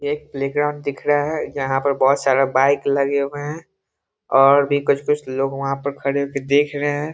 एक प्लेग्राउंड दिख रहा है जहाँ पर बहुत सारा बाइक लगे हुए हैं और भी कुछ-कुछ लोग वहाँ पर खड़े हो के देख रहें हैं।